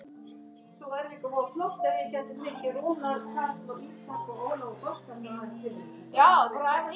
Bless ástin mín.